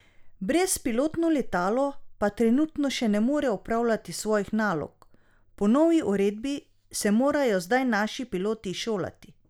Brezpilotno letalo pa trenutno še ne more opravljati svojih nalog: "Po novi uredbi se morajo zdaj naši piloti izšolati.